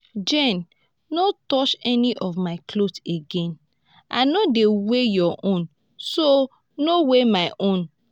jane no touch any of my clothes again. i no dey wear your own so no wear my own